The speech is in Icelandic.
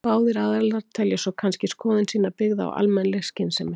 Báðir aðilar telja svo kannski skoðun sína byggða á almennri skynsemi.